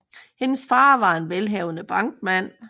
Hendes far var en velhavende bankmand